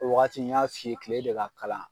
Waati n y'a f'i ye kile de ka kalan